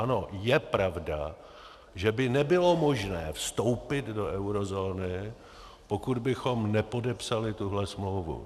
Ano, je pravda, že by nebylo možné vstoupit do eurozóny, pokud bychom nepodepsali tuhle smlouvu.